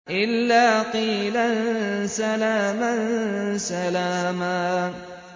إِلَّا قِيلًا سَلَامًا سَلَامًا